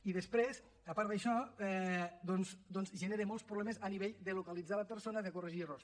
i després a part d’això doncs genera molts problemes a nivell de localitzar la persona de corregir errors